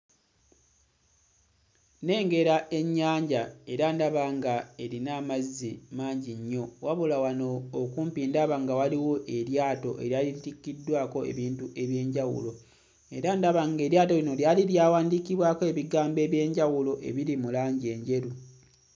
Nnengera ennyanja era ndaba nga erina amazzi mangi nnyo wabula wano okumpi ndaba nga waliwo eryato litikkiddwako ebintu eby'enjawulo era ndaba ng'eryato lino lyali lyawandiikibwako ebigambo eby'enjawulo ebiri mu langi enjeru.